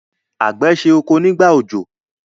àgbẹ̀ se oko nígbà òjò.